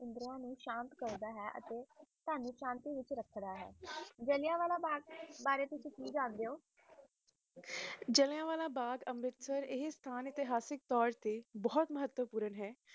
ਇੰਦਰ ਨੂੰ ਸ਼ਾਂਤ ਕਰਦਾ ਹੈ ਤੇ ਤੁਵਾਂਨੂੰ ਸ਼ਾਂਤੀ ਵਿਚ ਰੱਖਦਾ ਹੈ ਜੱਲਿਆ ਵਾਕ ਭਾਗ ਦੇ ਬਾਰੇ ਤੁਸੀ ਕਿ ਜਾਂਦੇ ਹੋ ਜਲਿਆਂਵਾਲਾ ਬਾਗ ਆਏ ਹੈ ਅਸਥਾਨ ਤੇ ਬੋਹਤ ਮਹਿਤਪੂਨ ਹੈ